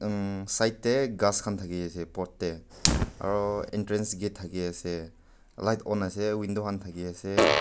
mm side tey ghas khan thakiase pot tey aro entrance gate thakiase light on ase window khan thakiase.